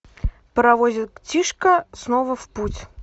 паровозик тишка снова в путь